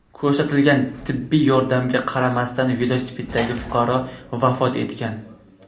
Ko‘rsatilgan tibbiy yordamga qaramasdan velosipeddagi fuqaro vafot etgan.